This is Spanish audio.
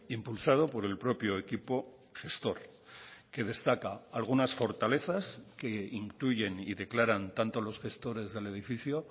impulsado por el propio equipo gestor que destaca algunas fortalezas que intuyen y declaran tanto los gestores del edificio